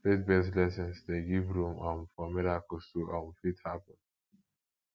faith based lessons de give room um for miracles to um fit happen